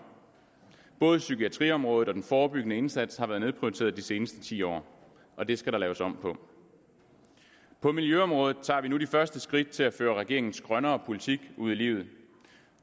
både psykiatriområdet og den forebyggende indsats har været nedprioriteret de seneste ti år og det skal der laves om på på miljøområdet tager vi nu de første skridt til at føre regeringens grønnere politik ud i livet